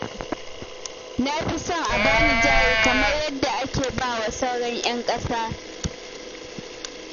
Na fi son a ba ni jari kamar yadda ake ba wa sauran 'yan ƙasa